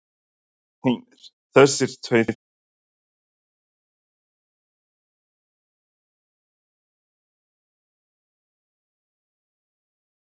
Heimir: Þessir tveir þingmenn hvað taka þeir sér lang hlé frá þingstörfum?